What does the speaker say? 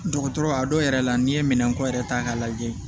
Dɔgɔtɔrɔ a dɔw yɛrɛ la n'i ye minɛnko yɛrɛ ta k'a lajɛ